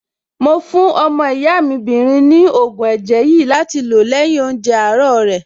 Mo fún ọmọ ìyá mi 'bìnrin ní ògùn ẹ̀jẹ̀ yìí láti lò lẹ́yìn oúnjẹ àárọ̀ rẹ̀.